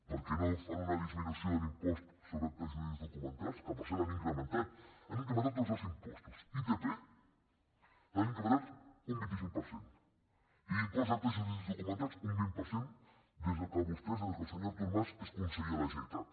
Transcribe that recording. per què no fan una disminució de l’impost sobre actes jurídics documentats que per cert han incrementat han incrementat tots els impostos l’itp l’han incrementat un vint cinc per cent i l’impost d’actes jurídics documentats un vint per cent des que vostès des que el senyor artur mas és conseller a la generalitat